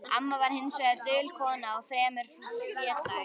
Amma var hins vegar dul kona og fremur hlédræg.